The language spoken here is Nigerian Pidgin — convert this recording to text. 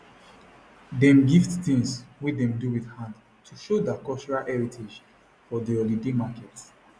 dem gift things wey dem do with hand to show der cultural heritage for the local holiday market